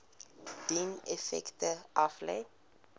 dien effekte aflê